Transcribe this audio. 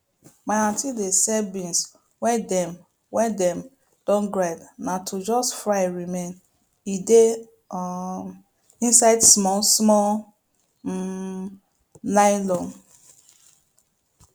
my aunty dey sell beans wey dem wey dem don grind na to just fry remain e dey um inside small small um nylon